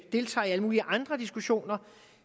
deltager i alle mulige andre diskussioner